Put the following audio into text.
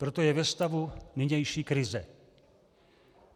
Proto je ve stavu nynější krize.